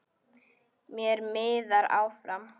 Mér miðar áfram.